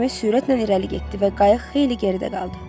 Gəmi sürətlə irəli getdi və qayıq xeyli geridə qaldı.